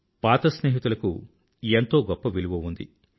పాత స్నేహితులకు ఎంతో గొప్ప విలువ ఉంది